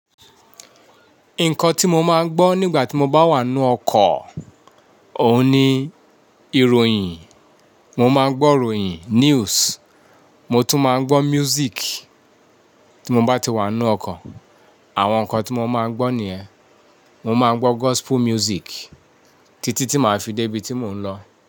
Nǹkan tí mo máa ń gbọ́ nígbà tí mo bá wà nínú ọkọ̀, òun ni ìròyìn. Mo máa ń gbọ́ròyìn, news, mo tún máa ń gbọ́ music tí mo bá ti wà nú ọkọ̀. Àwọn nǹkan tí mo máa ń gbọ́ nìyẹn. Mo máa ń gbọ́ gospel music títí tí màá fi débi tí mò ń lọ.